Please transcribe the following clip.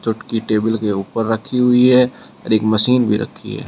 चोटकी table के ऊपर रखी हुई है और एक मशीन भी रखी है।